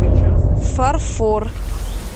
фарфор